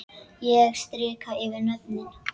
Ég strika yfir nöfnin.